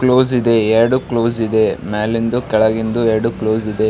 Close ಇದೆ ಎರಡು close ಇದೆ ಮೇಲಿಂದು ಕೆಳಗಿಂದು ಎರಡು ಕ್ಲೋಸ್ ಇದೆ.